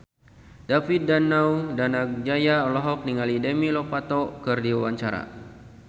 David Danu Danangjaya olohok ningali Demi Lovato keur diwawancara